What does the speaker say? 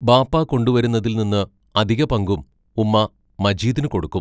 ബാപ്പാ കൊണ്ടുവരുന്നതിൽ നിന്ന് അധികപങ്കും ഉമ്മാ മജീദിനു കൊടുക്കും.